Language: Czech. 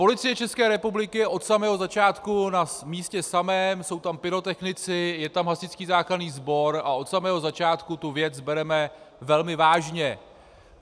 Policie České republiky je od samého začátku na místě samém, jsou tam pyrotechnici, je tam hasičský záchranný sbor a od samého začátku tu věc bereme velmi vážně.